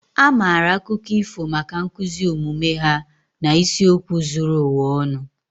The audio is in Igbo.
A maara akụkọ ifo maka nkuzi omume ha na isiokwu zuru ụwa ọnụ